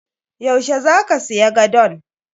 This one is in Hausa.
Yau she zaka siya gadon?